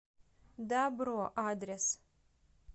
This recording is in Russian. дабро адрес